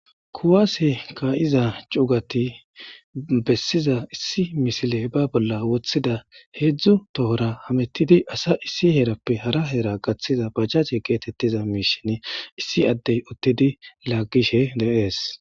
kuwaase kaa7iza cuugati bessiza issi misile ba bolla woththida heedzdzu tohora hamettidi asa issi heerappe hara hera gaththiza bajace geetettiza miishin issi addey uttidi laaggishe deees